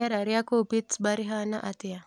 rīera rīa kūu Pittsburgh rīhana atīa